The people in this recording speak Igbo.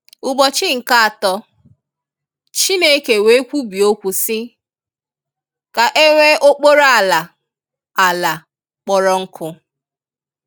Ubọchi nke atọ, Chineke wee kwubie okwu si, “ka enwe okporo ala/ala kporo nku”